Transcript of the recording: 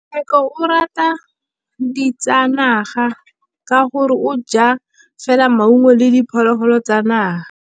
Tshekô o rata ditsanaga ka gore o ja fela maungo le diphologolo tsa naga.